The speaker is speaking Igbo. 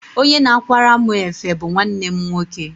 Onye na-akwara mụ efe bu nwanne m nwoke.